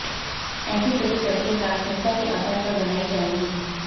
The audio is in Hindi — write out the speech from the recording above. ऐसी सभी सड़कें प्राथमिकता के आधार पर बनाई जायेंगीं